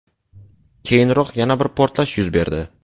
Keyinroq yana bir portlash yuz berdi .